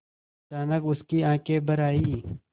अचानक उसकी आँखें भर आईं